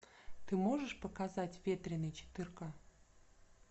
ты можешь показать ветреный четырка